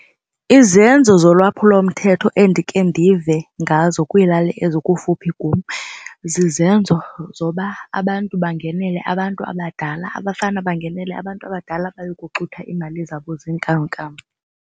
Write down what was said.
Izenzo zolwaphulomthetho endike ndive ngazo kwilali ezikufuphi kum zizenzo zoba abantu bangenele abantu abadala abafana bangenele abantu abadala baye kuxutha iimali zabo zeenkamnkam.